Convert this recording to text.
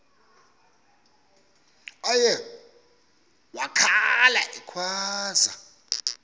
uye wakhala ekhwaza